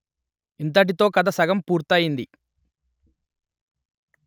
ఇంతటితో కథ సగం పూర్తి అయింది